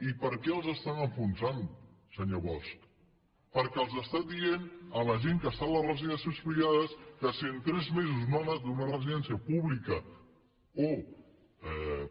i per què els estan enfonsant senyor bosch perquè estan dient a la gent que està a les residències privades que si en tres mesos no ha anat a una residència pública o